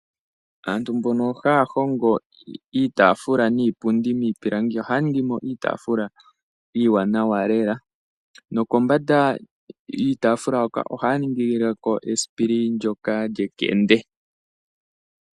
Aantu mbono haya hongo iitaafula niipundi miipilangi ohaya ningi mo iitaafula iiwanawa lela, nokombanda yiitaafula hoka ohaya ningile ko esipili ndyoka lyekende.